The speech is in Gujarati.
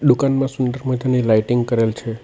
દુકાનમાં સુંદર મજાની લાઇટિંગ કરેલ છે.